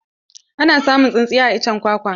Ana samun tsintsiya a iccen kwakwa.